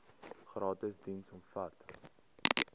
gratis diens omvat